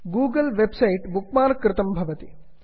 Google web site bookmark कृतं भवति